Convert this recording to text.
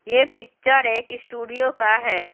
यह पिक्चर एक स्टूडियो का है।